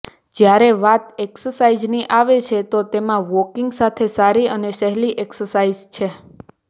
જ્યારે વાત એક્સસાઈઝની આવે છે તો તેમા વોકિંગ સૌથી સારી અને સહેલી એક્સસાઈઝ છે